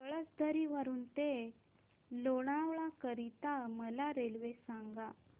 पळसधरी वरून ते लोणावळा करीता मला रेल्वे सांगा